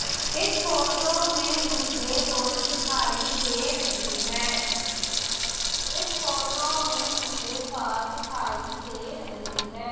इस फोटो में मुझे रोड दिखाई दे रही है इस फोटो में मुझे कार दिखाई दे रही है।